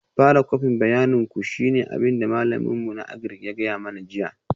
Fara kwafin bayanin ku shine abin da malamin mu na Agric ya gaya mana jiya